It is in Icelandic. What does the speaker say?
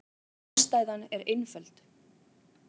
Ástæðan er einföld.